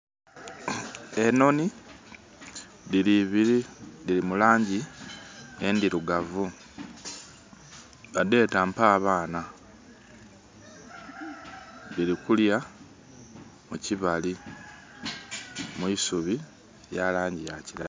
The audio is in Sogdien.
Enoni dhiri ibiri, dhiri mulangi endhirugavu. Badheeta, Mpa Abaana. Dhili kulya mukibali, mu isubi lya langi ya kiragala.